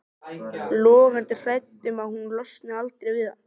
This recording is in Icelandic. Logandi hrædd um að hún losni aldrei við hann.